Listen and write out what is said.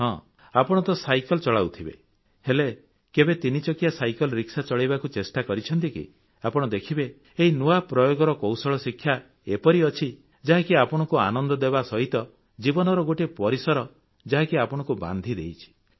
ହଁ ଆପଣ ତ ସାଇକେଲ ଚଲାଉଥିବେ ହେଲେ କେବେ ୩ ଚକିଆ ସାଇକେଲ ରିକ୍ସା ଚଳାଇବାକୁ ଚେଷ୍ଟା କରିଛନ୍ତି କି ଆପଣ ଦେଖିବେ ଏହି ନୂଆ ପ୍ରୟୋଗର କୌଶଳ ଶିକ୍ଷା ଏପରି ଅଛି ଯାହାକି ଆପଣଙ୍କୁ ଆନନ୍ଦ ଦେବା ସହିତ ଜୀବନରେ ଗୋଟିଏ ପରିସର ଯାହାକି ଆପଣଙ୍କୁ ବାନ୍ଧିଦେଇଛି